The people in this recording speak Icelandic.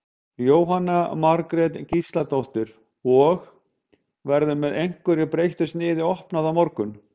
Jóhanna Margrét Gísladóttir: Og, verður með einhverju breyttu sniði opnað á morgun?